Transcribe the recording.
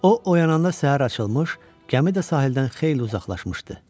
O oyananda səhər açılmış, gəmi də sahildən xeyli uzaqlaşmışdı.